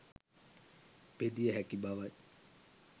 බෙදිය හැකි බව යි.